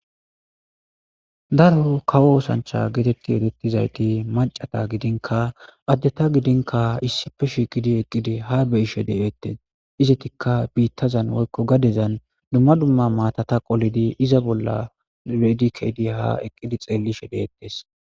daroho kawo oosancha geetetti edettizayti macata gidinka addeta gidinka issife shiqidi eqqidi ha beyishe de7ettes izetikka biittazan woykko gadezan dumma dumma maatata qolidi iza bolla reedikeydi ha eqqidi xeellishe deettes